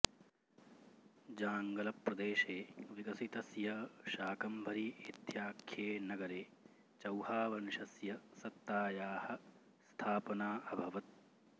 जाङ्गलप्रदेशे विकसितस्य शाकम्भरी इत्याख्ये नगरे चौहावंशस्य सत्तायाः स्थापना अभवत्